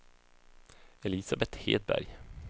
Elisabeth Hedberg